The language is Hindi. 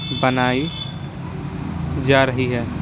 बनाई जा रही है ।